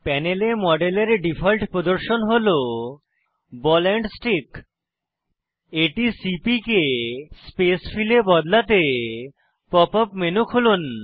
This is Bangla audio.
প্যানেলে মডেলের ডিফল্ট প্রদর্শন হল বল এন্ড স্টিক এটি সিপিকে স্পেস ফিল এ বদলাতে পপ আপ মেনু খুলুন